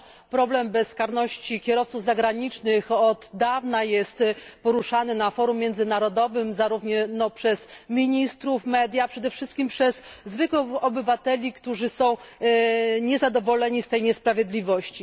Problem bezkarności kierowców zagranicznych od dawna jest poruszany na forum międzynarodowym, zarówno przez ministrów, jak i media, a przede wszystkim przez zwykłych obywateli, którzy są niezadowoleni z tej niesprawiedliwości.